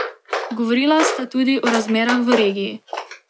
Govorila sta tudi o razmerah v regiji.